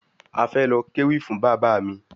A fẹ lọ kéwì fún Bàbá mi